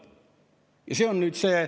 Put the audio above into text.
" Ja see on nüüd see.